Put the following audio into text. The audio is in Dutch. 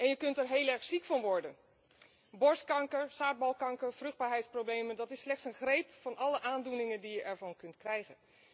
En je kunt er heel erg ziek van worden borstkanker, zaadbalkanker, vruchtbaarheidsproblemen. Dit is slechts een greep uit alle aandoeningen die je ervan kunt krijgen.